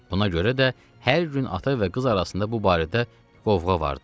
Buna görə də hər gün ata və qız arasında bu barədə qovğa vardı.